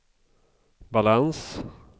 balans